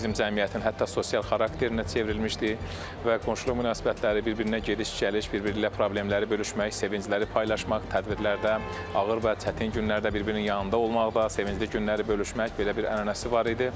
Bu bizim cəmiyyətin hətta sosial xarakterinə çevrilmişdi və qonşuluq münasibətləri bir-birinə gediş-gəliş, bir-biri ilə problemləri bölüşmək, sevincləri paylaşmaq, tədbirlərdə, ağır və çətin günlərdə bir-birinin yanında olmaqda, sevincli günləri bölüşmək belə bir ənənəsi var idi.